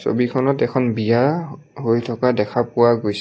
ছবিখনত এখন বিয়া হৈ থকা দেখা পোৱা গৈছে।